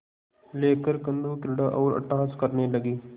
लेकर कंदुकक्रीड़ा और अट्टहास करने लगी